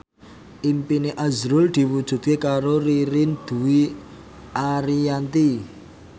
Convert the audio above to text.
impine azrul diwujudke karo Ririn Dwi Ariyanti